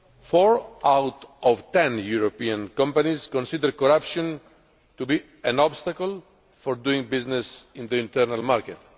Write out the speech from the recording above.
Four out of ten European companies consider corruption to be an obstacle for doing business in the internal market.